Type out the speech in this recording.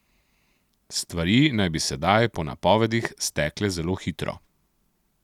Stvari naj bi sedaj po napovedih stekle zelo hitro.